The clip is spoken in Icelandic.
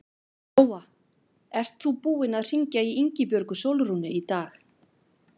Lóa: Ert þú búinn að hringja í Ingibjörgu Sólrúnu í dag?